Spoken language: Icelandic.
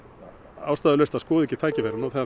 ástæðulaust að skoða ekki tækifærið nú þegar